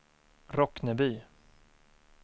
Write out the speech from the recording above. Rockneby